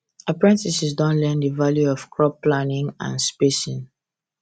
apprentices don learn the value of crop planning and spacing